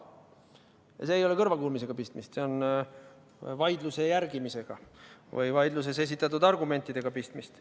Ja siin ei ole kõrvakuulmisega mingit pistmist, siin on pistmist vaidluse või vaidluses esitatud argumentide jälgimisega.